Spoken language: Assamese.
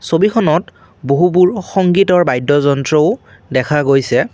ছবিখনত বহুবোৰ সংগীতৰ বাদ্য যন্ত্ৰও দেখা গৈছে।